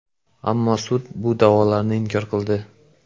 Ammo sud bu da’volarni inkor qildi.